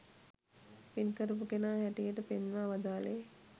පින්කරපු කෙනා හැටියට පෙන්වා වදාළේ